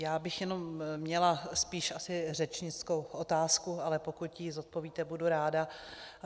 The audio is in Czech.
Já bych jenom měla spíše asi řečnickou otázku, ale pokud ji zodpovíte, budu ráda.